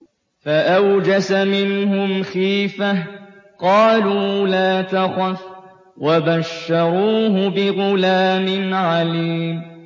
فَأَوْجَسَ مِنْهُمْ خِيفَةً ۖ قَالُوا لَا تَخَفْ ۖ وَبَشَّرُوهُ بِغُلَامٍ عَلِيمٍ